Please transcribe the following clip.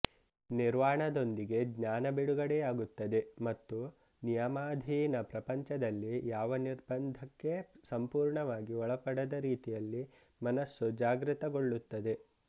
ನಿರ್ವಾಣದೊಂದಿಗೆಜ್ಞಾನ ಬಿಡುಗಡೆಯಾಗುತ್ತದೆ ಮತ್ತು ನಿಯಮಾಧೀನ ಪ್ರಪಂಚದಲ್ಲಿ ಯಾವ ನಿರ್ಬಂಧಕ್ಕೆ ಸಂಪೂರ್ಣವಾಗಿ ಒಳಪಡದ ರೀತಿಯಲ್ಲಿ ಮನಸ್ಸು ಜಾಗೃತಗೊಳ್ಳುತ್ತದೆ